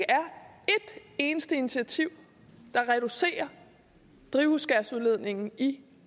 eneste initiativ der reducerer drivhusgasudledningen i